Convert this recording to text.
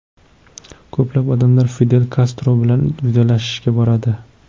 Ko‘plab odamlar Fidel Kastro bilan vidolashishga boradi.